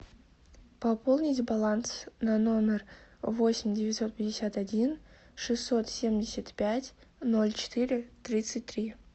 пополнить баланс на номер восемь девятьсот пятьдесят один шестьсот семьдесят пять ноль четыре тридцать три